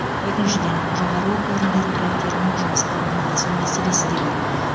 екіншіден жоғары оқу орындары түлектерінің жұмысқа орналасу мәселесі де бар